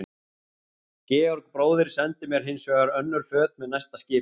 Georg bróðir sendi mér hins vegar önnur föt með næsta skipi.